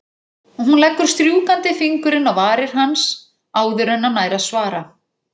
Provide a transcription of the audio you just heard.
Hún leggur strjúkandi fingurinn á varir hans áður en hann nær að svara.